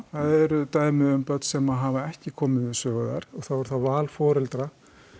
eru dæmi um börn sem hafa ekki komið við sögu þar og það er þá val foreldra